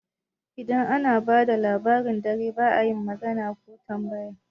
Idan ana bada Labarin dare ba'a yin magana ko tambaya